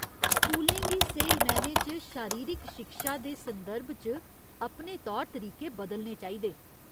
स्कूलें गी स्हेई मैह्‌नें च शारीरिक शिक्षा दे संदर्भ च अपने तौर तरीके बदलने चाहिदे।